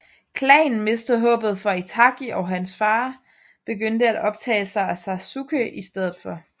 Klanen mistede håbet for Itachi og hans far begyndte at optage sig af Sasuke i stedet for